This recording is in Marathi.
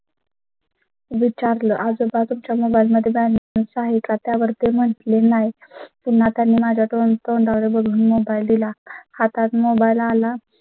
विचारलं आजोबा तुमच्या mobile मध्ये balance आहे का? त्यावर ते म्हटले नाही. पुन्हा त्यांनी माझ्या तोंडावर बघून mobile दिला. हातात mobile आला